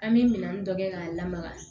An bɛ minɛn dɔ kɛ k'a lamaga